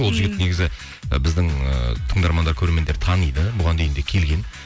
ол жігіт негізі і біздің ы тыңдармандар көрермендер таниды бұған дейін де келген